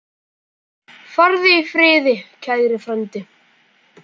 Farðu í friði, kæri frændi.